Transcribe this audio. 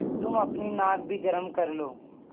तुम अपनी नाक भी गरम कर लो